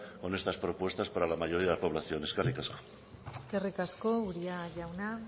con estas propuestas para la mayoría de la población eskerrik asko eskerrik asko uria jauna